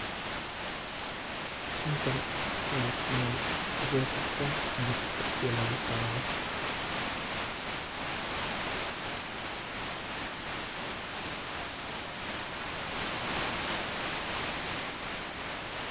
Halkan waa meel ardayda kubartan compiutarka sida looguisticmaalo.